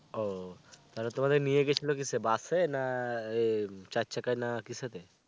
ও, তাহলে তোমাদের নিয়ে গেছিলো কিসে? বাস এ না? এহ চার চাকায় না? কিসেতে?